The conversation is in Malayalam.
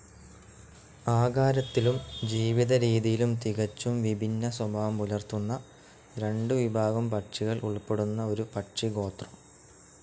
ആകാരത്തിലും ജീവിതരീതിയിലും തികച്ചും വിഭിന്ന സ്വഭാവം പുലർത്തുന്ന രണ്ടു വിഭാഗം പക്ഷികൾ ഉൾപ്പെടുന്ന ഒരു പക്ഷിഗോത്രം.